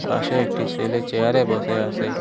পাশে একটি সেলে চেয়ারে বসে আসে।